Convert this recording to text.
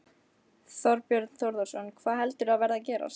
Þorbjörn Þórðarson: Hvað heldur þú að verði að gerast?